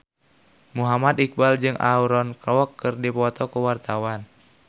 Muhammad Iqbal jeung Aaron Kwok keur dipoto ku wartawan